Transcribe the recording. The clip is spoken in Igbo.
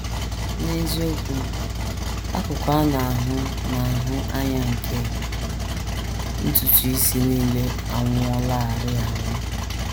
N’eziokwu, akụkụ a na - ahụ na - ahụ anya nke ntutu isi nile anwụọlarị anwụ.